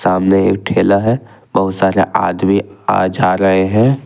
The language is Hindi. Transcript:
सामने एक ठेला है बहुत सारे आदमी आ जा रहे हैं।